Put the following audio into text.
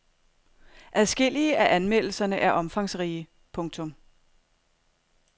Adskillige af anmeldelserne er omfangsrige. punktum